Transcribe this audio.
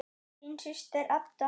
Þín systir, Edda.